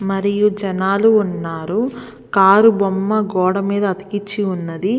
మరియు జనాలు ఉన్నారు కారు బొమ్మ గోడ మీద అతికించి ఉన్నది.